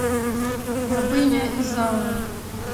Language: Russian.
рабыня изаура